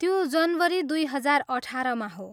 त्यो जनवरी दुई हजार अठाह्रमा हो।